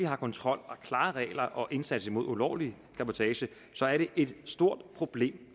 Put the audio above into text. har kontrol og klare regler og indsats mod ulovlig cabotage så er det et stort problem